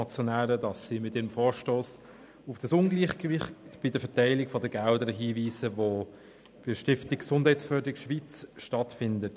Sie haben mit ihrem Vorstoss auf das Ungleichgewicht bei der Verteilung der Gelder hingewiesen, die bei der Stiftung Gesundheitsförderung Schweiz stattfindet.